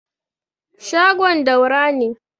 shagon Daura ne